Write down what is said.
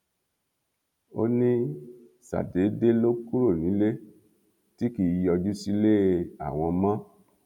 ó ní ṣàdédé ló kúrò nílé tí kì í yọjú sílé àwọn mọ